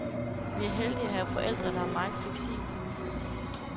Vi er heldige at have forældre, der er meget fleksible.